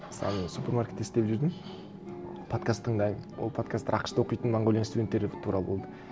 мысалы мен супермаркетте істеп жүрдім подкаст тыңдаймын ол подкасттар ақш та оқитын монғолияның студенттері туралы болды